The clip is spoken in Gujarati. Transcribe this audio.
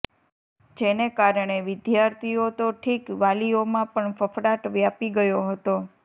જેને કારણે વિદ્યાર્થીઓ તો ઠીક વાલીઓમાં પણ ફફડાટ વ્યાપી ગયો હતો